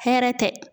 Hɛrɛ tɛ